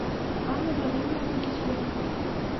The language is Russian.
анна владимировна кисленко